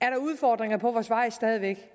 er der udfordringer på vores vej stadig væk